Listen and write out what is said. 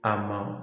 A ma